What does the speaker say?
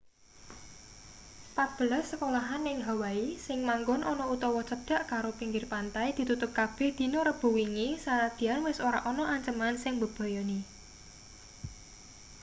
patbelas sekolahan ning hawaii sing manggon ana utawa cedhak karo pinggir pantai ditutup kabeh dina rebo wingi sanadyan wis ora ana anceman sing mbebayani